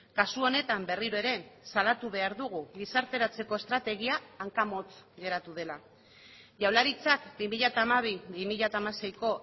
kasu honetan berriro ere salatu behar dugu gizarteratzeko estrategia hankamotz geratu dela jaurlaritzak bi mila hamabi bi mila hamaseiko